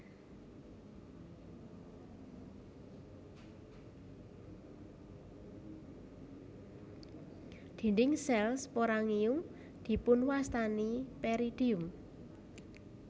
Dinding sel sporangium dipunwastani peridium